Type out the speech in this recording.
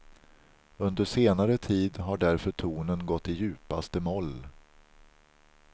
Under senare tid har därför tonen gått i djupaste moll.